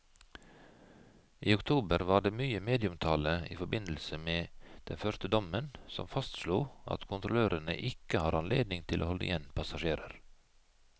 I oktober var det mye medieomtale i forbindelse med den første dommen som fastslo at kontrollørene ikke har anledning til å holde igjen passasjerer.